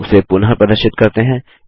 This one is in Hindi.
उसे पुनः प्रदर्शित करते हैं